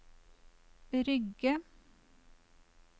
Rygge